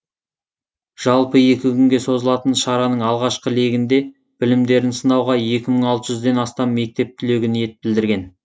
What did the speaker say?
жалпы екі күнге созылатын шараның алғашқы легінде білімдерін сынауға екі мың алты жүзден астам мектеп түлегі ниет білдірген